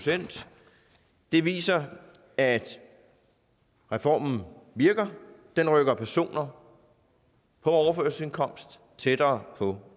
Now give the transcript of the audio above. det viser at reformen virker den rykker personer på overførselsindkomst tættere på